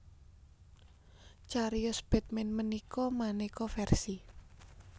Cariyos Batman ménika maneka versi